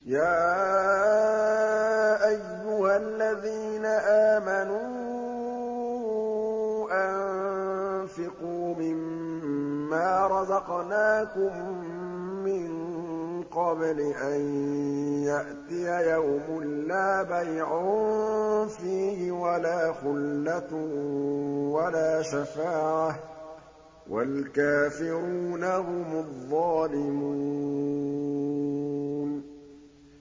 يَا أَيُّهَا الَّذِينَ آمَنُوا أَنفِقُوا مِمَّا رَزَقْنَاكُم مِّن قَبْلِ أَن يَأْتِيَ يَوْمٌ لَّا بَيْعٌ فِيهِ وَلَا خُلَّةٌ وَلَا شَفَاعَةٌ ۗ وَالْكَافِرُونَ هُمُ الظَّالِمُونَ